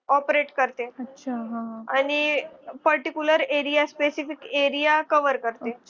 operate करते आणि particular area specific area cover करते.